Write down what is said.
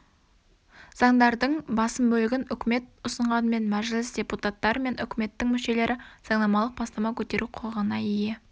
заңдардың басым бөлігін үкіметі ұсынғанымен мәжіліс депуттатары мен үкіметінің мүшелері заңнамалық бастама көтеру құқығына ие